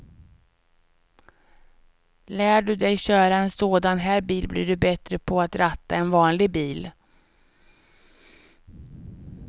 Lär du dig köra en sådan här bil blir du bättre på att ratta en vanlig bil.